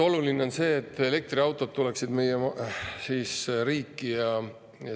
… on see, et elektriautod tuleksid meie riiki.